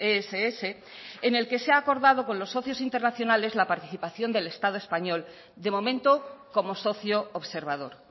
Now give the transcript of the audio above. eric ess en el que se ha acordado con los socios internacionales la participación del estado español de momento como socio